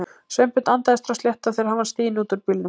Sveinbjörn andaði strax léttar þegar hann var stiginn út úr bílnum.